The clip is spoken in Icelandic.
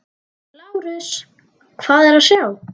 LÁRUS: Hvað er að sjá?